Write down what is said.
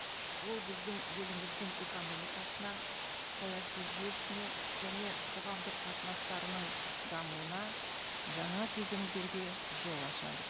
ол біздің еліміздің экономикасына саяси жүйесіне және қоғамдық қатынастарының дамуына жаңа кезеңдерге жол ашады